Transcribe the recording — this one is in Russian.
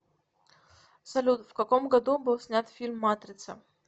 салют в каком году был снят фильм матрица